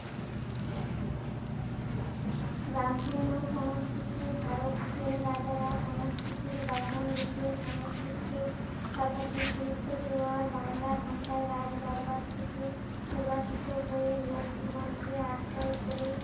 বামপুন্ন সংস্কৃতির ধারক সেন রাজারা সংস্কৃতির বাহন রূপে সংস্কৃতিকে সর্বাধিক গুরুত্ব দেওয়ার বাংলা ভাষায় রাজ দরবার থেকে নির্বাচত হয়ে লোক জীবন কে আশ্রয় করে